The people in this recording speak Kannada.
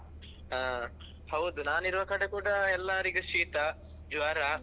ಹಾ ಹೌದು ನಾನ್ ಇರುವ ಕಡೆ ಕೂಡ ಎಲ್ಲರಿಗೂ ಶೀತ, ಜ್ವರ.